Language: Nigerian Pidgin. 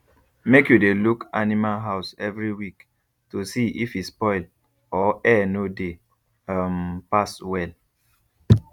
make you dey look animal house every week to see if e spoil or air no dey um pass well